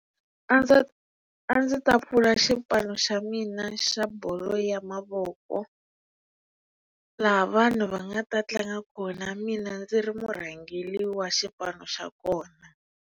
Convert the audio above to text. A ndzi a ndzi ta pfula xipano xa mina xa bolo ya mavoko laha vanhu va nga ta tlanga kona mina ndzi ri mu rhangeriwa xipano xa kona.